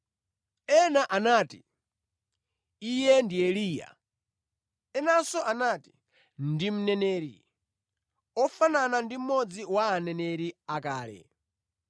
Ena anati, “Iye ndi Eliya.” Enanso anati, “Ndi mneneri, ofanana ndi mmodzi wa aneneri akale.”